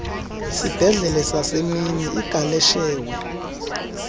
isibhedlele sasemini igaleshewe